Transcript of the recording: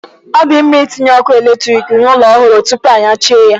Ọ di mma itinye ọkụ eletrik n'ụlọ ọhụrụ tupu anyachie ya.